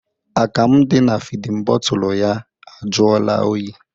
Akamụ dị na fidin bọtụlụ ya ajụọla oyi.